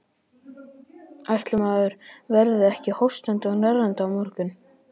Ætli maður verði ekki hóstandi og hnerrandi á morgun.